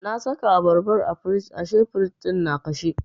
Na saka abarban a firij ashe firij ɗin na kashe.